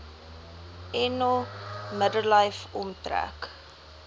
eno middellyf omtrek